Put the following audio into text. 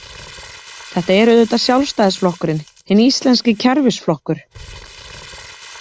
Þetta er auðvitað Sjálfstæðisflokkurinn, hinn íslenski kerfisflokkur.